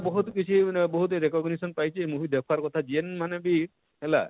ବହୁତ କିଛି ମାନେ ବହୁତ commendation ପାଇଛେ movie ଦେଖବାର କଥା ଯେନ ମାନେ ବି ହେଲା,